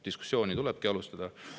Diskussiooni tulebki alustada.